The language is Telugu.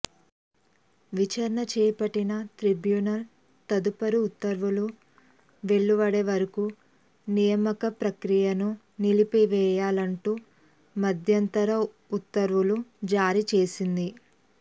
విచారణ చేపట్టిన ట్రిబ్యునల్ తదుపరి ఉత్తర్వులు వెలువడే వరకు నియామక ప్రక్రియను నిలిపివేయాలంటూ మధ్యంతర ఉత్తర్వులు జారీ చేసింది